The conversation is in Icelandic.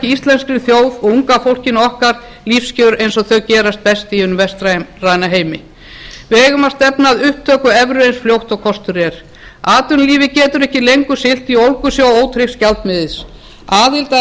íslenskri þjóð og unga fólkinu okkar lífskjör eign og þau gerast best í hinum vestræna heimi við eigum að stefna að upptöku evru eins fljótt og kostur er atvinnulífið getur ekki lengur siglt í ólgusjó ótryggs gjaldmiðils aðild að